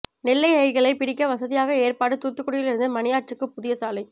நெல்லை ரயில்களை பிடிக்க வசதியாக ஏற்பாடு தூத்துக்குடியில் இருந்து மணியாச்சிக்கு புதிய சாலை